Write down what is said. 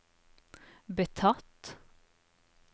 betatt